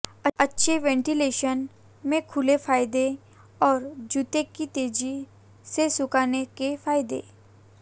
अच्छे वेंटिलेशन में खुले फायदे और जूते की तेजी से सुखाने के फायदे